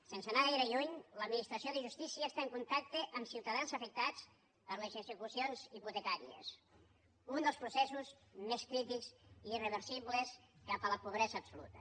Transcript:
sense anar gaire lluny l’administració de justícia està en contacte amb ciutadans afectats per les execucions hipotecàries un dels processos més crítics i irreversibles cap a la pobresa absoluta